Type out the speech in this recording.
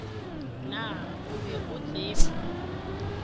naa o be o tseba